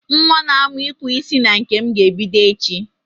Nwa na-amu ikpu isi na nke m ga-ebido echi.